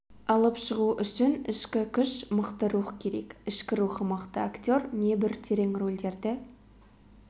алып шығу үшін ішкі күш мықты рух керек ішкі рухы мықты актер небір терең рөлдерді